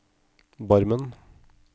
Barmen